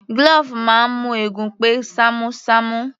Glove máa ń mú eegun pé ṣamu ṣamu